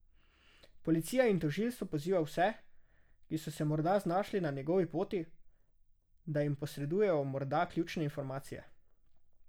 Policija in tožilstvo poziva vse, ki so se morda znašli na njegovi poti, da jim posredujejo morda ključne informacije.